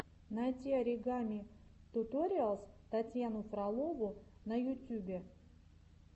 найти оригами туториалс татьяну фролову на ютюбе